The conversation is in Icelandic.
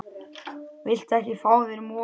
Viltu ekki fá þér mola?